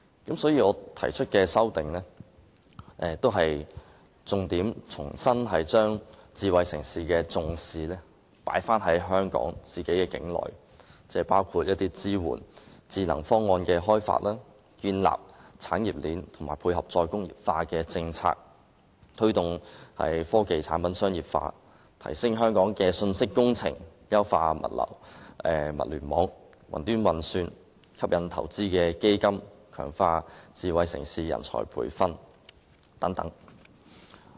因此，我提出修正案旨在重新把智慧城市的重點放回香港境內，包括支援智能方案的開發、建立產業鏈、配合"再工業化"政策、推動科技產品商業化、提升香港的信息工程、優化物聯網、雲端運算、吸引投資基金，以及強化智慧城市人才培訓等建議。